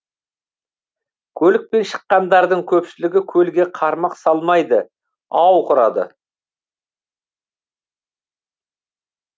көлікпен шыққандардың көпшілігі көлге қармақ салмайды ау құрады